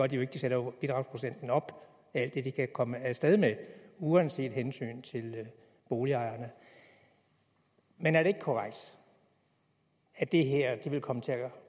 de jo ikke de sætter bidragsprocenten op alt det de kan komme af sted med uanset hensyn til boligejerne men er det ikke korrekt at det her vil komme til at